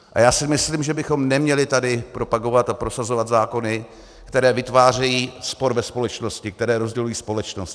A já si myslím, že bychom neměli tady propagovat a prosazovat zákony, které vytvářejí spor ve společnosti, které rozdělují společnost.